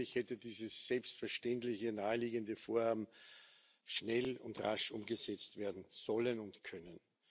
Eigentlich hätte dieses selbstverständliche, naheliegende Vorhaben schnell und rasch umgesetzt werden sollen und können.